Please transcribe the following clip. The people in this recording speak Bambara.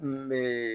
N bɛ